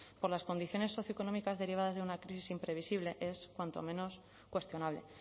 por las condiciones socioeconómicas derivadas de una crisis imprevisible es cuanto menos cuestionable